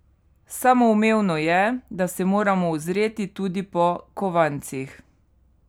Samoumevno je, da se moramo ozreti tudi po kovancih.